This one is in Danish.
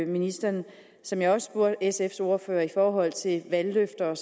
ministeren som jeg også spurgte sfs ordfører i forhold til valgløfterne